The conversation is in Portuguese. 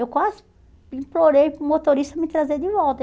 Eu quase implorei para o motorista me trazer de volta.